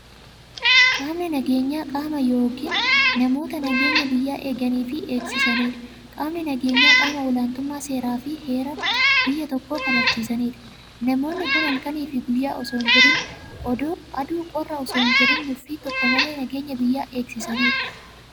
Qaamni nageenyaa qaama yookiin namoota nageenya biyyaa eeganiifi eegsisaniidha. Qaamni nageenyaa qaama olaantummaa seerafi heera biyya tokkoo kabachiisaniidha. Namoonni kun halkaniif guyyaa osoon jedhin, aduu qorra osoon jedhin nuffii tokko malee nageenya biyyaa eegsisaniidha.